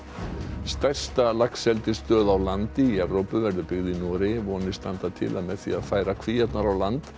stærsta laxeldisstöð á landi í Evrópu verður byggð í Noregi vonir standa til að með því að færa kvíarnar á land